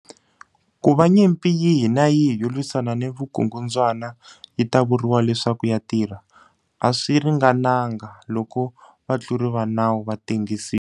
Ku va nyimpi yihi ni yihi yo lwisana ni vukungundzwana yi ta vuriwa leswaku ya tirha, a swi ringananga loko vatluri va nawu va tengisiwa.